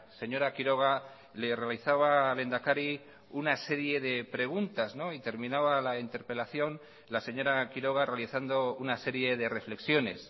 señora quiroga le realizaba al lehendakari una serie de preguntas y terminaba la interpelación la señora quiroga realizando una serie de reflexiones